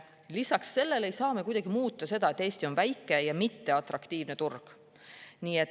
Lisaks sellele ei saa me kuidagi muuta seda, et Eesti on väike ja mitteatraktiivne turg.